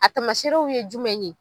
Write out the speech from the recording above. A tamaseerew ye jumɛn ye?